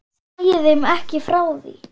Segi þeim ekki frá því.